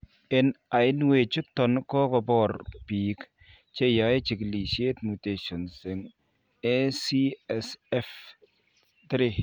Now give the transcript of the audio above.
En ainwechuton kogoko bor biik cheyae chikilisiet mutations en ACSF3